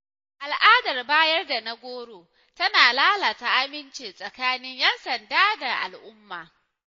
Al’adar “bayar da na goro” tana lalata aminci tsakanin ‘yan sanda da al’umma.